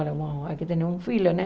Aqui tem um filho, né?